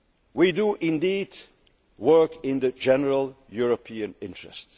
the treaty. We do indeed work in the general European